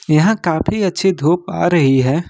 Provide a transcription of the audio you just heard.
यहां काफी अच्छी धूप आ रही है।